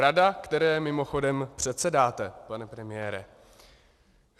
Rada, které mimochodem předsedáte, pane premiére.